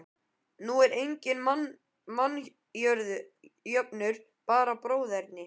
Nú er enginn mannjöfnuður, bara bróðerni.